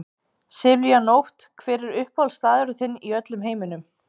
Silvía Nótt Hver er uppáhaldsstaðurinn þinn í öllum heiminum?